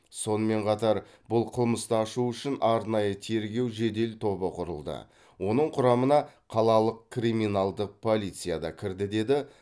сонымен қатар бұл қылмысты ашу үшін арнайы тергеу жедел тобы құрылды оның құрамына қалалық криминалдық полиция да кірді деді